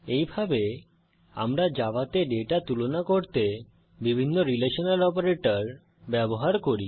এইভাবে আমরা জাভাতে ডেটা তুলনা করতে বিভিন্ন রিলেশনাল অপারেটর ব্যবহার করি